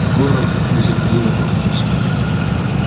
горов нетерпеливо отмахнулся